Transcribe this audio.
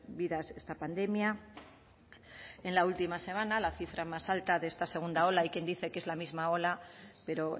vidas esta pandemia en la última semana la cifra más alta de esta segunda ola hay quien dice que es la misma ola pero